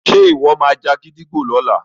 ṣe iwọ má já gídígbò lọla?